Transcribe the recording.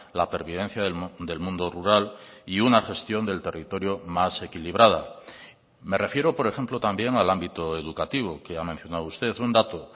la pervivencia del mundo rural y una gestión del territorio más equilibrada me refiero por ejemplo también al ámbito educativo que ha mencionado usted un dato